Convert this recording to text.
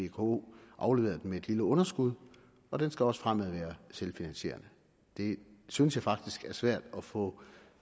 vko afleverede den med et lille underskud og den skal også fremadrettet være selvfinansierende det synes jeg faktisk det er svært at få